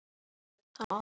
kveðja, Hlynur.